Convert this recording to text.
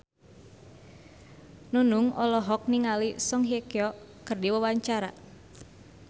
Nunung olohok ningali Song Hye Kyo keur diwawancara